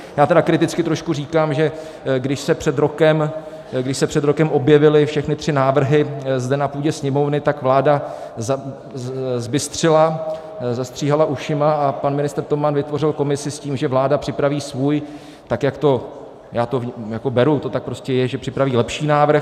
Já tedy kriticky trošku říkám, že když se před rokem objevily všechny tři návrhy zde na půdě Sněmovny, tak vláda zbystřila, zastříhala ušima a pan ministr Toman vytvořil komisi s tím, že vláda připraví svůj, tak jak to - já to beru, to tak prostě je, že připraví lepší návrh.